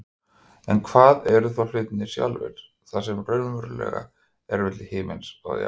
En hvað eru þá hlutirnir sjálfir, það sem raunverulega er milli himins og jarðar?